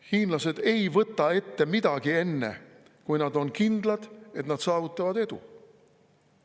Hiinlased ei võta ette midagi enne, kui nad on kindlad, et nad saavutavad edu.